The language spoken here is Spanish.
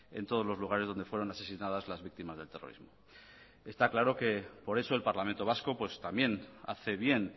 en todos los lugares donde fueron asesinadas las víctimas del terrorismo está claro que por eso el parlamento vasco también hace bien